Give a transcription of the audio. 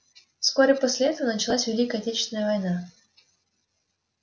вскоре после этого началась великая отечественная война